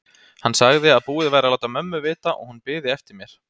Hann sagði að búið væri að láta mömmu vita og hún biði eftir mér.